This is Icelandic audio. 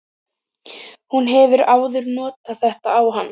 Hún hefur áður notað þetta á hann.